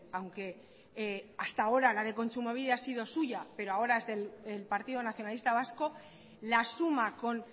aunque hasta ahora la de kontsumobide ha sido suya pero ahora es del partido nacionalista vasco la asuma con